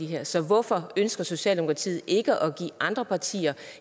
her så hvorfor ønsker socialdemokratiet ikke at give andre partier